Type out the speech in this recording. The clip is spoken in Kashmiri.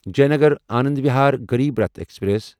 جینگر آنند وہار غریب راٹھ ایکسپریس